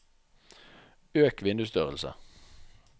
øk vindusstørrelse